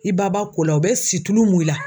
I ba ba ko la u bɛ situlu mun i la.